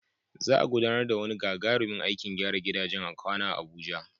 Za'a gudanar da wani gagarumin aikin gyara gidajen kwana a Abuja